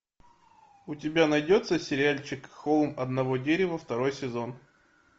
у тебя найдется сериальчик холм одного дерева второй сезон